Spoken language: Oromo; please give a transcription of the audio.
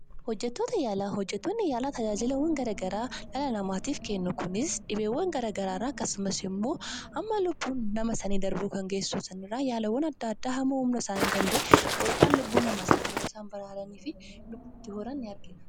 Hojjettoota yaalaa. Hojjettoonni yaalaa tajaajilawwan garaa garaa dhala namaatiif kennu. Kunis dhibeewwan garaa garaa irraa akkasumas immoo hamma lubbuun namaa sanii darbuu kan geessisu irraa yaalawwaan adda addaa hamma humna isaanii danda'e godhuudhaan lubbuu sanii baraaranii fi lubbu itti horan ni argina.